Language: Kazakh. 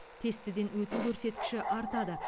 тестіден өту көрсеткіші артады